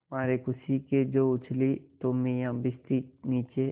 मारे खुशी के जो उछली तो मियाँ भिश्ती नीचे